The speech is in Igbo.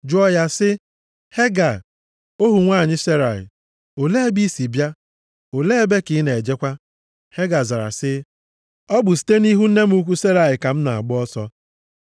jụọ ya sị, “Hega, ohu nwanyị Serai, olee ebe i si bịa, olee ebe ka ị na-ejekwa?” Hega zara sị, “Ọ bụ site nʼihu nne m ukwu Serai ka m na-agba ọsọ.”